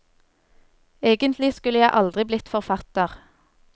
Egentlig skulle jeg aldri blitt forfatter.